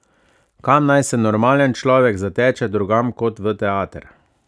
Kam naj se normalen človek zateče drugam kot v teater?